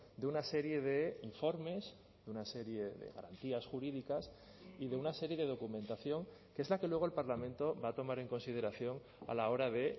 de una serie de informes de una serie de garantías jurídicas y de una serie de documentación que es la que luego el parlamento va a tomar en consideración a la hora de